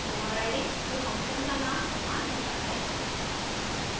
overriding में function का name समान होता है